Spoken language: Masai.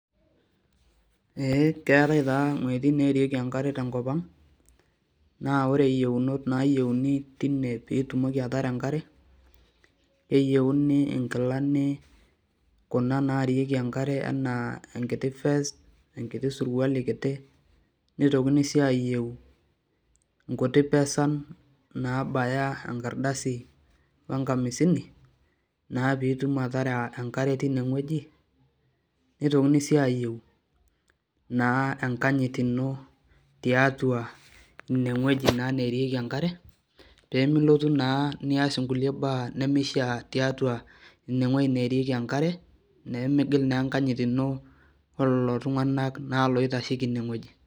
Keetae taa wejitin neerieki enkare tenkopanga naa ore yieunot nayieuni tine pee itumoki ataara enkare ,keyieuni nkilani kuna naariki enkare enaa enkit fest ema enkiti surkuali kiti nitokitini sii ayieu nkuti pesan naabaya enkardasi wenkamisini naa pe itum ataara enkare tine weji ,nitokini sii ayieu na enkanyit ino tiatua naa ineweji neerieki enkare ,pee nilotu naa nias nkulie baa tineweji neerieki enkare ,pee migil naa enkanyit ino olelo tunganak naa oitasheki ineweji.